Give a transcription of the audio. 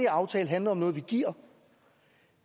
aftale handler om noget vi giver